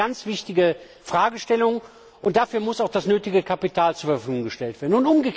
Das ist eine ganz wichtige Fragestellung, und dafür muss auch das nötige Kapital zur Verfügung gestellt werden.